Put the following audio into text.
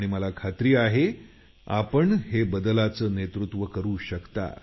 मला खात्री आहे आपण या बदलाचं नेतृत्व करू शकाल